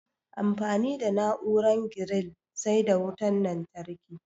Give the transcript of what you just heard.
Amfani da na'uaran giril sai da wutan lantarki